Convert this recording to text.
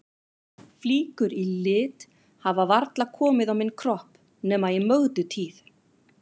Flíkur í lit hafa varla komið á minn kropp nema í Mögdu tíð.